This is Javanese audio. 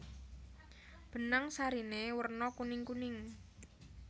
Benang sariné werna kuningkuning